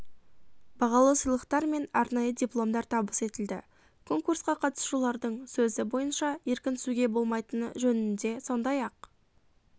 бағалы сыйлықтар мен арнайы дипломдар табыс етілді конкурсқа қатысушылардың сөзі бойынша еркінсуге болмайтыны жөнінде сондай-ақ